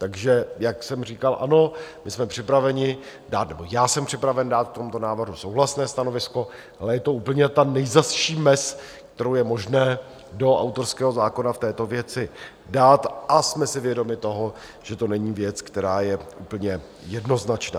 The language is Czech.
Takže jak jsem říkal, ano, my jsme připraveni dát - nebo já jsem připraven dát - k tomuto návrhu souhlasné stanovisko, ale je to úplně ta nejzazší mez, kterou je možné do autorského zákona v této věci dát, a jsme si vědomi toho, že to není věc, která je úplně jednoznačná.